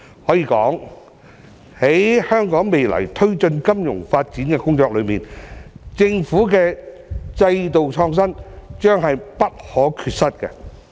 可以說，在香港未來推進金融發展工作中，政府的制度創新將是不可缺失。